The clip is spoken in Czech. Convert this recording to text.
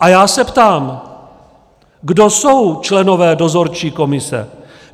A já se ptám, kdo jsou členové dozorčí komise.